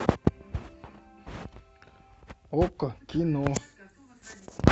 окко кино